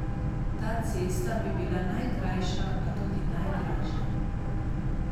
Ta cesta bi bila najkrajša, a tudi najdražja.